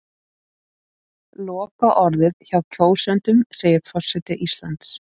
Lokaorðið hjá kjósendum segir forseti Íslands